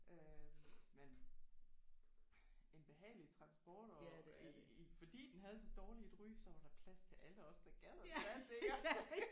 Øh men en behagelig transport og i fordi den havde så dårligt et ry så var der plads til alle os der gad at tage den iggås